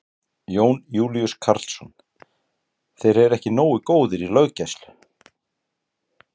Jón Júlíus Karlsson: Þeir eru ekki nógu góðir í löggæslu?